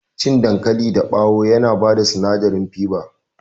Cikin dankali dabawo yana bada sinadari faba